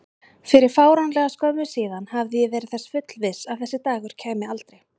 Fyrir fáránlega skömmu síðan hafði ég verið þess fullviss að þessi dagur kæmi aldrei.